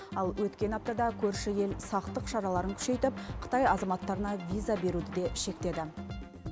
ал өткен аптада көрші ел сақтық шараларын күшейтіп қытай азаматтарына виза беруді де шектеді